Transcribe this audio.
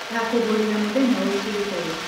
Ngakũgũrĩra mũthenya ũkĩte